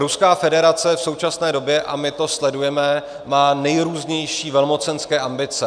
Ruská federace v současné době - a my to sledujeme - má nejrůznější velmocenské ambice.